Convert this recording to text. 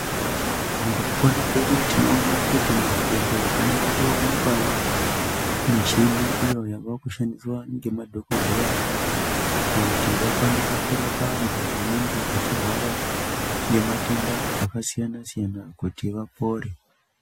Mukupona kwedu tinoona kuti muzvibhedhleya mavakuwanikwawo michini, iyo yavakushandiswa ngemadhokodheya, kuti vakwanise kurapa antu anengeechirwara, ngematenda akasiyana-siyana kuti vapore.